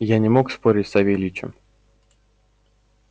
я не мог спорить с савельичем